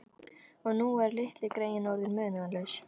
Og nú eru litlu greyin orðin munaðarlaus.